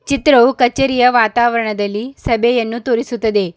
ಚಿತ್ರವು ಕಚೇರಿಯ ವಾತಾವರನದಲ್ಲಿ ಸಭೆಯನ್ನು ತೋರಿಸುತ್ತದೆ.